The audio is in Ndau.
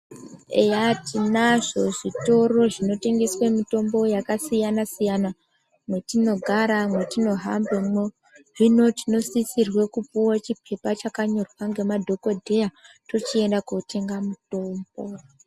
Eya tinazvo zvitoro zvinotengeswe mitombo yakasiyana-siyana mwetinogara mwetinohambemwo hino tinosisirwe kupuwa chipepa chakanyorwa ngemadhokodheya tochienda kotenga mitombo.